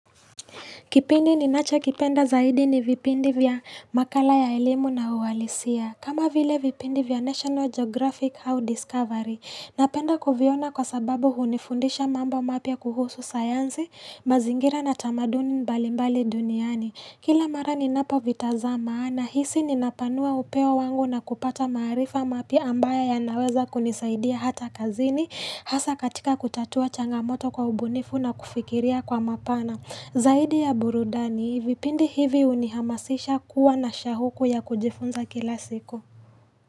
Kipindi ninachokipenda zaidi ni vipindi vya makala ya elimu na uhalisia. Kama vile vipindi vya National Geographic au Discovery. Napenda kuviona kwa sababu hunifundisha mambo mapya kuhusu sayansi, mazingira na tamaduni mbalimbali duniani. Kila mara ninapo vitazama, nahisi ninapanua upeo wangu na kupata maarifa mapya ambayo yanaweza kunisaidia hata kazini, hasa katika kutatua changamoto kwa ubunifu na kufikiria kwa mapana. Zaidi ya burudani, vipindi hivi unihamasisha kuwa na shauku ya kujifunza kila siku.